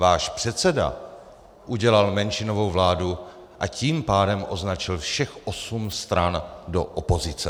Váš předseda udělal menšinovou vládu, a tím pádem označil všech osm stran do opozice.